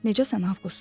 Necəsən Avqust?